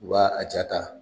U b'a a jaa ta.